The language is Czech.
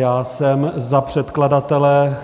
Já jsem za předkladatele